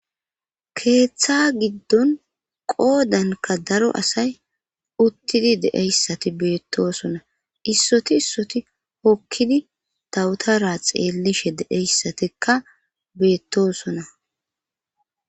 Keeththa giddon qoodanka daro asay uttidi deeyssati beettosona issoti issoti hokkidi tawutara xeellishe deeyssatikka beettosona.